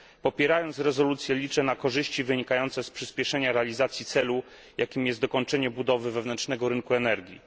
Popierając rezolucję, liczę na korzyści wynikające z przyspieszenia realizacji celu, jakim jest dokończenie budowy wewnętrznego rynku energii.